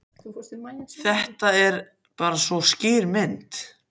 Þetta er bara svo skýr mynd.